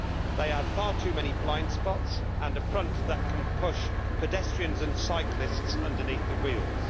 They have far too many blind spots and a front that can push pedestrians and cyclists underneath the wheels.